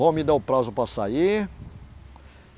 Vão me dar o prazo para sair.